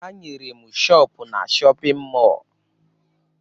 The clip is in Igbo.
Ha nyere m shọọpụ na shọpịn mọọ